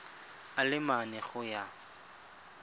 a le mane go ya